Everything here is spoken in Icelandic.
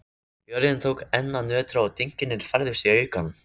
Jörðin tók enn að nötra og dynkirnir færðust í aukana.